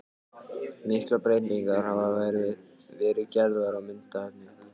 Miklar breytingar hafa verið gerðar á myndefni.